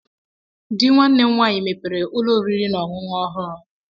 Di nwanne m nwaanyị mepere ụlọ oriri na ọṅụṅụ ọhụrụ.